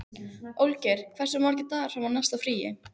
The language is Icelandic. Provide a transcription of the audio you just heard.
Olgeir, hversu margir dagar fram að næsta fríi?